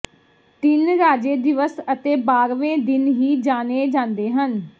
ਤਿੰਨ ਰਾਜੇ ਦਿਵਸ ਅਤੇ ਬਾਰਵੇਂ ਦਿਨ ਵੀ ਜਾਣੇ ਜਾਂਦੇ ਹਨ